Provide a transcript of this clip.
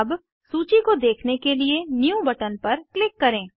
अब सूची को देखने के लिए न्यू बटन पर क्लिक करें